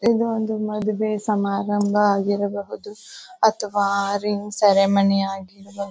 ಇದು ಒಂದು ಮದುವೆ ಸಮಾರಂಭ ಆಗಿರಬಹುದು ಅಥವಾ ರಿಂಗ್ ಸೆರೆಮನಿ ಆಗಿರಬಹುದು.